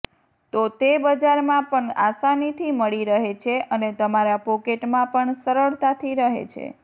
તો તે બજારમાં પણ અસાનીથી મળી રહે છે અને તમારા પોકેટમાં પણ સરળતાથી રહે છે